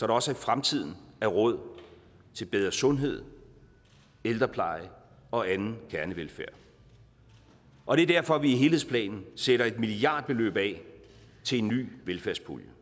også i fremtiden er råd til bedre sundhed ældrepleje og anden kernevelfærd og det er derfor at vi i helhedsplanen sætter et milliardbeløb af til en ny velfærdspulje